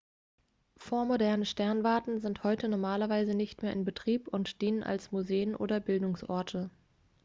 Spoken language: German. vormoderne sternwarten sind heute normalerweise nicht mehr in betrieb und dienen als museen oder bildungsorte